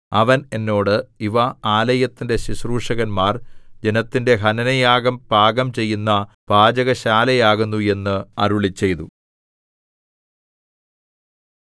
അവൻ എന്നോട് ഇവ ആലയത്തിന്റെ ശുശ്രൂഷകന്മാർ ജനത്തിന്റെ ഹനനയാഗം പാകം ചെയ്യുന്ന പാചകശാലയാകുന്നു എന്ന് അരുളിച്ചെയ്തു